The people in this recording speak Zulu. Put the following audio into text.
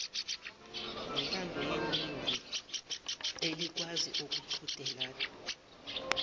ngentandoyeningi elikwazi ukuqhudelana